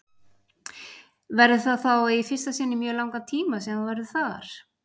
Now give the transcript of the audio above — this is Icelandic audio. Verður það þá í fyrsta sinn í mjög langan tíma sem þú verður þar?